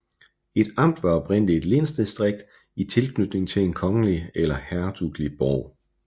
Et amt var oprindelig et lensdistrikt i tilknytning til en kongelig eller hertugelig borg